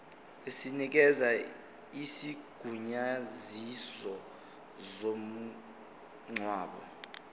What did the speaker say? esinikeza isigunyaziso somngcwabo